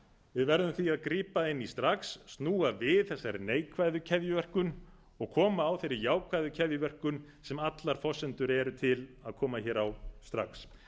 við verðum því að grípa inn í strax snúa við þessari neikvæðu keðjuverkun og koma á þeirri jákvæðu keðjuverkun sem allar forsendur eru til að koma hér á strax en til þess